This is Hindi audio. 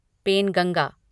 पेनगंगा